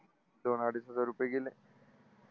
दोन-अडीच हजार रूपये गेले.